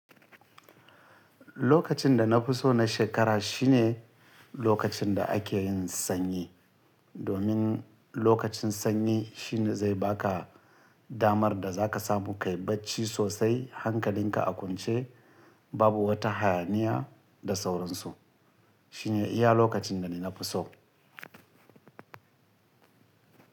Lokacin da na fi so na shekara shine lokacin da ake yin sanyi. Domin lokacin sanyi shine zai baka damar da zaka samu kayi bacci sosai hankalinka a kwance babu wata hayaniya da sauransu. Shine iya lokacin da ni na fi so.